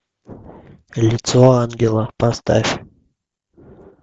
лицо ангела поставь